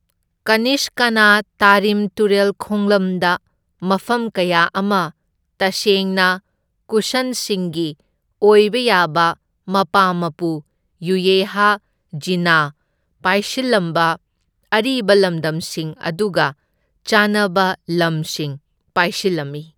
ꯀꯅꯤꯁꯀꯥꯅꯥ ꯇꯥꯔꯤꯝ ꯇꯨꯔꯦꯜ ꯈꯣꯡꯂꯝꯗ ꯃꯐꯝ ꯀꯌꯥ ꯑꯃ ꯇꯁꯦꯡꯅ, ꯀꯨꯁꯟꯁꯤꯡꯒꯤ ꯑꯣꯏꯕ ꯌꯥꯕ ꯃꯄꯥ ꯃꯄꯨ ꯌꯨꯌꯦꯍ ꯓꯤꯅꯥ ꯄꯥꯏꯁꯤꯜꯂꯝꯕ ꯑꯔꯤꯕ ꯂꯝꯗꯝꯁꯤꯡ ꯑꯗꯨꯒ ꯆꯥꯟꯅꯕ ꯂꯝꯁꯤꯡ ꯄꯥꯏꯁꯤꯟꯂꯝꯃꯤ꯫